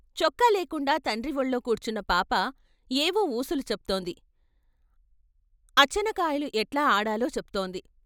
చొక్క లేకుండా తండ్రివొళ్ళో కూర్చున్న పాప ఏవో వూసులు చెప్తోంది అచ్చనకాయలు ఎట్లా ఆడాలో చెప్తోంది.